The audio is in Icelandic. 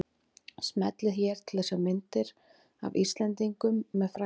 Smellið hér til að sjá myndir af Íslendingum með frægum